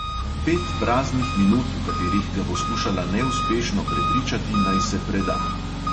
Pet praznih minut, v katerih ga bo skušala neuspešno prepričati, naj se preda.